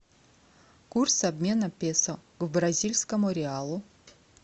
курс обмена песо к бразильскому реалу